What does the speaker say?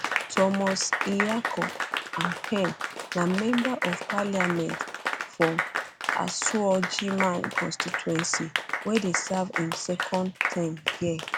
thomas nyarko ampem na member of parliament for asuogyman constituency wey dey serve im second term dia